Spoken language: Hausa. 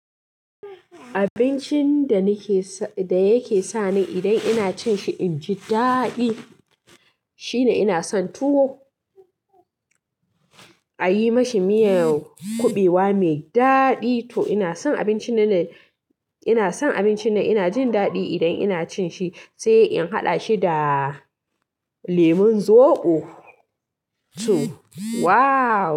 Abincin da yake sa ni idan ina cin shi inji daɗi shine ina son tuwo, a yi ma shi miyan kuɓewa mai daɗi to ina son abinci nan ina jin daɗi idan ina cin shi sai in haɗa shi da lemon zoɓo to wow.